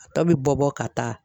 A tɔ bi bɔ bɔ ka taa.